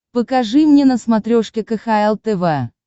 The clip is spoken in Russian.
покажи мне на смотрешке кхл тв